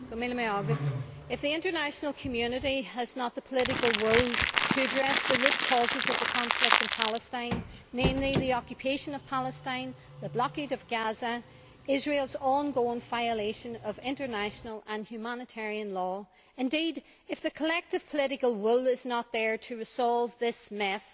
Mr President, if the international community has not the political will to address the root causes of the conflict in Palestine namely the occupation of Palestine, the blockade of Gaza, Israel's ongoing violation of international and humanitarian law if, indeed, the collective political will is not there to resolve this mess,